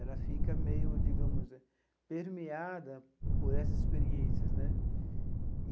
Ela fica meio, digamos, permeada por essas experiências né.